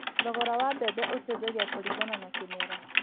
Thogora wa mbembe ũcenjagia kũringana na kĩmera